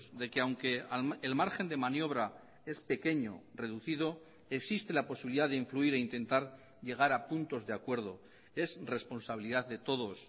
de que aunque el margen de maniobra es pequeño reducido existe la posibilidad de influir e intentar llegar a puntos de acuerdo es responsabilidad de todos